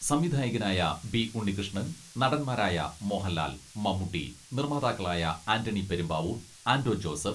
സംവിധായകനായ ബി.ഉണ്ണികൃഷ്ണൻ, നടൻമാരായ മോഹൻലാൽ, മമ്മൂട്ടി, നിർമ്മാതാക്കളായ ആന്റണി പെരുമ്പാവൂർ, ആന്റോ ജോസഫ്